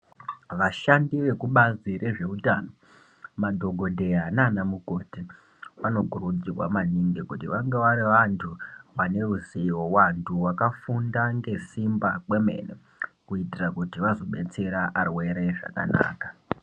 Vashandi vekubazi rezveutano, madhokodheya naanamukoti vanokurudzirwa maningi kuti vange vari vantu vane ruzivo, vantu vakafunda ngesimba kwemene kuitira kuti vazobetsera varwere zvakanaka.